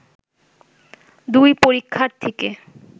দুই পরীক্ষার্থীকে